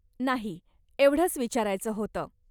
नाही. एवढंच विचारायचं होतं.